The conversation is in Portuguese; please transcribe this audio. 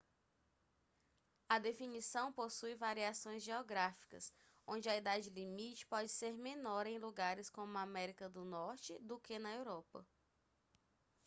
a definição possui variações geográficas onde a idade limite pode ser menor em lugares como a américa do norte do que na europa